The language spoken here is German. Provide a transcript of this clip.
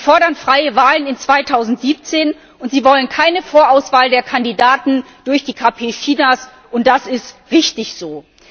Sie fordern freie Wahlen für 2017, und sie wollen keine Vorauswahl der Kandidaten durch die KP Chinas, und das ist richtig so.